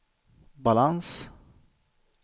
balans